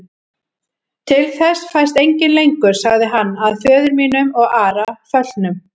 Til þess fæst enginn lengur, sagði hann,-að föður mínum og Ara föllnum.